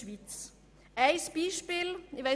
Einige Beispiele: